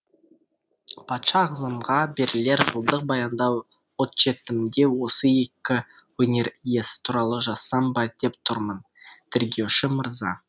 патша ағзамға берілер жылдық баяндау отчетімде осы екі өнер иесі туралы жазсам ба деп тұрмын тергеуші мырза